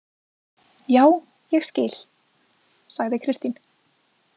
Já, ég skil, sagði Kristín.